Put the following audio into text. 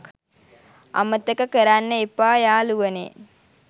අමතක කරන්න එපා යාලුවනේ